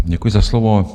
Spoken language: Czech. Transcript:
Děkuji za slovo.